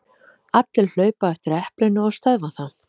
Allir hlaupa á eftir eplinu og stöðva það.